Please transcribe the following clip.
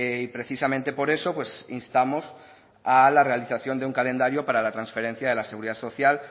y precisamente por eso instamos a la realización de un calendario para la transferencia de la seguridad social